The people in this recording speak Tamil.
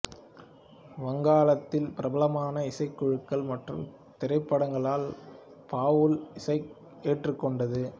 வங்காளத்தில் பிரபலமான இசைக்குழுக்கள் மற்றும் திரைப்படங்களால் பாவுல் இசையை ஏற்றுக்கொண்டது